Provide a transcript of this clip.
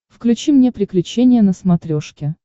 включи мне приключения на смотрешке